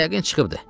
Yəqin çıxıbdır.